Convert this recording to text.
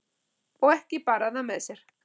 Og ekki bar hann það með sér.